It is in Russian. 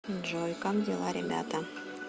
джой как дела ребята